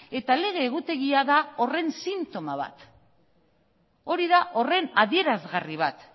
eta lege egutegia da horren sintoma bat da hori da horren adierazgarri bat